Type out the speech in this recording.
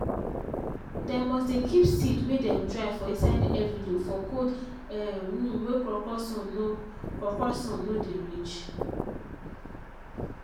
dem must dey keep seed wey dem dry for inside envelope for cold um room wey krokro sun nor krokro sun nor dey reach.